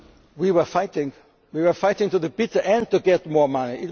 We were fighting to the bitter end to get more money.